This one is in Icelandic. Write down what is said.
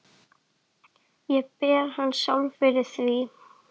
Ég ber hana sjálfa fyrir því.